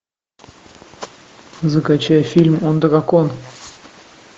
закачай фильм он дракон